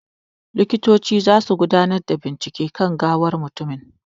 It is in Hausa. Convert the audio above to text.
Likitoci zasu gudanar da bincike kan gawan mutumin.